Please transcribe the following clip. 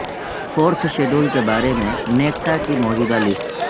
fourth schedule کے بارے میں نیکٹا کی موجودہ لسٹ